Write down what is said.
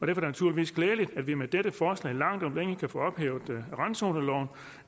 det naturligvis glædeligt at vi med dette forslag langt om længe kan få ophævet randzoneloven